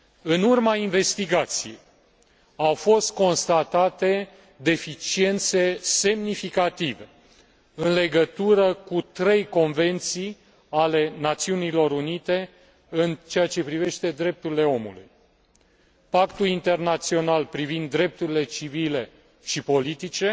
În urma investigației au fost constatate deficiențe semnificative în legătură cu trei convenții ale Națiunilor Unite în ceea ce privește drepturile omului Pactul internațional privind drepturile civile și politice,